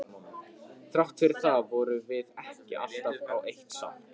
Þrátt fyrir það vorum við ekki alltaf á eitt sátt.